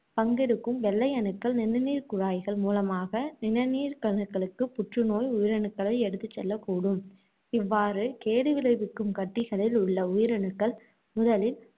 பங்கெடுக்கும் வெள்ளை அணுக்கள், நிணநீர்க் குழாய்கள் மூலமாக நிணநீர்க்கணுக்களுக்குப் புற்று நோய் உயிரணுக்களை எடுத்துச் செல்லக் கூடும். இவ்வாறு கேடு விளைவிக்கும் கட்டிகளில் உள்ள உயிரணுக்கள் முதலில்